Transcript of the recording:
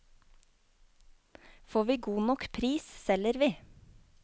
Får vi god nok pris, selger vi.